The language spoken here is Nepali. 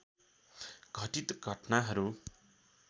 घटित घट्नाहरू